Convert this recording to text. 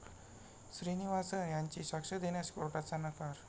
श्रीनिवासन यांची साक्ष देण्यास कोर्टाचा नकार